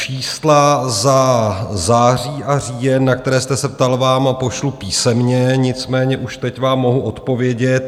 Čísla za září a říjen, na která jste se ptal, vám pošlu písemně, nicméně už teď vám mohu odpovědět.